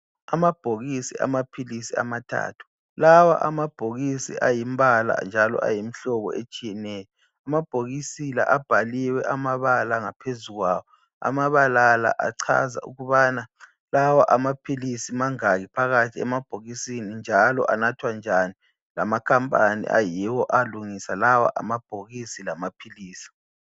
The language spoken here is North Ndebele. Amabhokisi amaphilisi amathathu. Lawa amabhokisi ayimbala njalo ayimihlobo etshiyeneyo. Amabhokisi la abhaliwe amabala ngaphezu kwawo. Amabala la achaza ukubana lawa amaphilisi mangaki phakathi emabhokisini njalo anathwa njani, lamakhampani ayiwo alungisa lawa amabhokisi lamaphilisi.